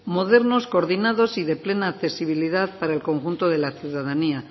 modernos coordinados y de plena accesibilidad para el conjunto de la ciudadanía